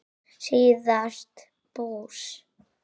síðast bús.